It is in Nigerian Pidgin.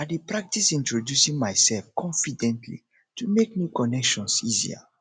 i dey practice introducing myself confidently to make new connections easier